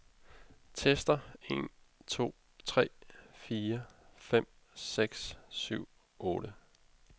Tester en to tre fire fem seks syv otte.